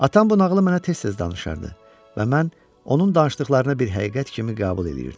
Atam bu nağılı mənə tez-tez danışardı və mən onun danışdıqlarına bir həqiqət kimi qəbul eləyirdim.